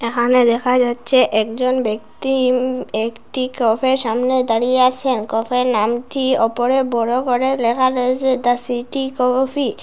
এখানে দেখা যাচ্ছে একজন ব্যক্তি উম একটি কফের সামনে দাঁড়িয়ে আসেন কফের নামটি ওপরে বড় করে লেখা রয়েসে দ্যা সিটি কফি ।